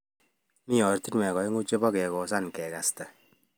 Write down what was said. Mii ortunwek aengu chepo kekosan kekasta